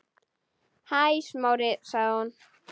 Hæ, Smári- sagði hún.